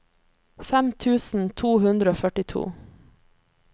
fem tusen to hundre og førtito